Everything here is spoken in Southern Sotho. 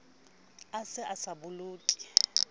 a se a sa bokolle